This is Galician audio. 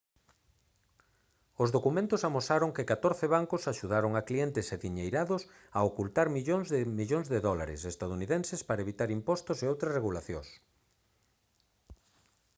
os documentos amosaron que catorce bancos axudaron a clientes adiñeirados a ocultar miles de millóns de dólares estadounidenses para evitar impostos e outras regulacións